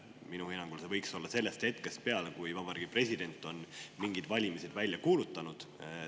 Minu hinnangul võiks see hetkest, kui Vabariigi President on valimised välja kuulutanud.